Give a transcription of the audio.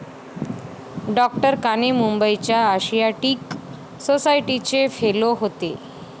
डॉ.काणे मुंबईच्या आशियाटिक सोसायटीचे फेलो होते.